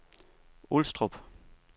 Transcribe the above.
Ulstrup